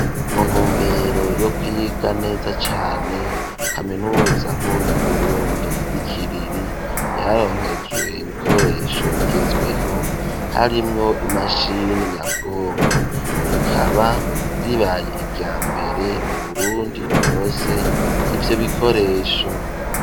Mu ntumbero yo kwiga neza cane kaminuza nkuru yu buruntdi yi kiriri yaronkejwe ibikoresho bigezweho harimwo imashini nyabwonko rikaba ribaye irya mbere mu burundi rirose ibyo bikoresho.